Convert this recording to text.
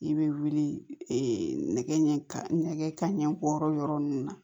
I bɛ wuli nɛgɛ ɲɛgɛn ka ɲɛ bɔyɔrɔ yɔrɔ ninnu na